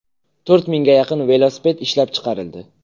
To‘rt mingga yaqin velosiped ishlab chiqarildi.